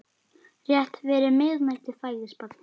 Rétt fyrir miðnætti fæðist barnið.